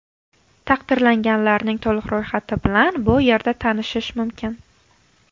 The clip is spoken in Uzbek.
Taqdirlanganlarning to‘liq ro‘yxati bilan bu yerda tanishish mumkin .